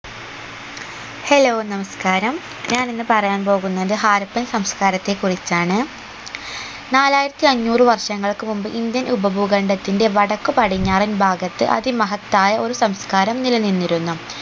hello നമസ്ക്കാരം ഞാൻ ഇന്ന് പറയാൻ പോകുന്നത് ഹാരപ്പൻ സംസ്ക്കാരത്തെക്കുറിച്ചാണ് നാലായിരത്തി അഞ്ഞൂറ് വർഷങ്ങൾക്ക് മുമ്പ് indian ഉപഭൂഖണ്ഡത്തിന്റെ വടക്ക് പടിഞ്ഞാറൻ ഭാഗത്ത് അതിമഹത്തായ ഒരു സംസ്ക്കാരം നിലനിന്നിരുന്നു